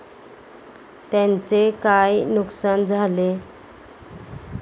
त्यांचे काय नुकसान झाले?